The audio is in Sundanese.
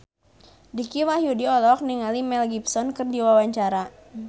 Dicky Wahyudi olohok ningali Mel Gibson keur diwawancara